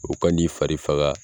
U kan'i fari faga.